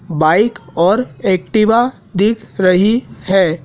Bike और Activa दिख रही है।